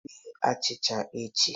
Bee achịcha echi